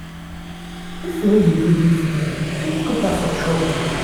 dis thing wey you dey do dis girl fit put her for trouble